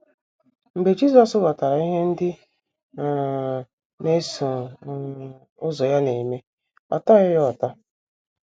Mgbe Jisọs ghọtara ihe ndị um na - eso um ụzọ ya na - eme, ọ tọghị ya ụtọ.